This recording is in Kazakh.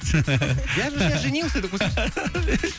я же сейчас женился деп қойсайшы